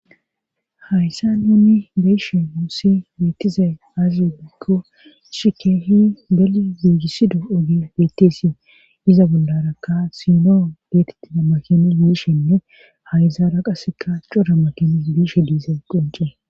hayssa yunni beyshe muussi beettize aazi bekko shikeehi beli biigisido oge beettesi iza bollarakka sinoo geetettida makini biishenne hayzaara qaseka cora makini biishe diize qonce